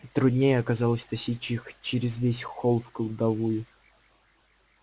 труднее оказалось тащить их через весь холл в кладовую